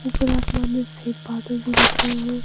ऊपर आसमान मे सफेद बादल भी दिख रहे है।